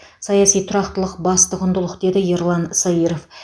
саяси тұрақтылық басты құндылық деді ерлан саиров